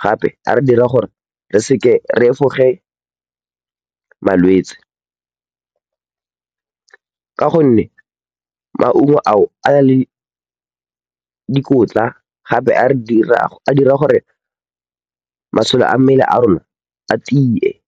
gape a re dira gore re efoge malwetse ka gonne maungo ao a na le dikotla gape a re dira, a dira gore masole a mmele ya rona a tie.